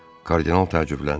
Kardinal təəccübləndi.